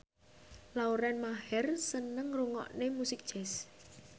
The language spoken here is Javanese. Lauren Maher seneng ngrungokne musik jazz